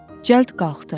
Cəld qalxdı.